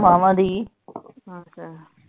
ਮਾਵਾਂ ਦੀ ਅੱਛਾ